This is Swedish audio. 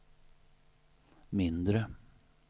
mindre